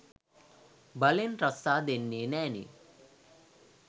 බලෙන් රස්සා දෙන්නේ නැනේ.